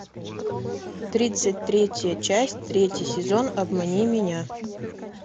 тридцать третья часть третий сезон обмани меня